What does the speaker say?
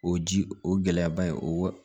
O ji o gɛlɛyaba in o